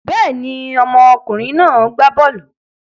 Bẹ́ẹ̀ ni, ọmọkùnrin náà gbá bọ́ọ́lù.